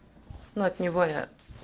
ну от него я